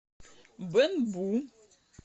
бэнбу